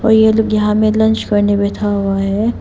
ये लोग यहां में लंच करने बैठे हुए हैं।